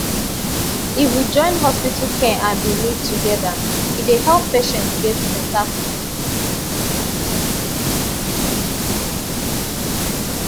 if we join hospital care and belief together e dey help patient get better quick